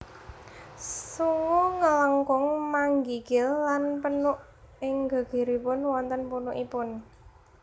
Sungu nglengkung manginggil lan punuk ing gegeripun wonten punukipun